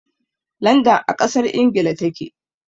Landan a ƙasar Ingila ta ke.